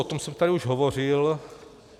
O tom jsem tady už hovořil.